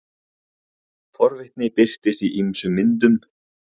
forvitni birtist í ýmsum myndum